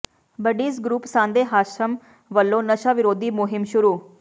buddies group Sande Hashim ਵੱਲੋਂ ਨਸ਼ਾ ਵਿਰੋਧੀ ਮੁਹਿੰਮ ਸ਼ੁਰੂ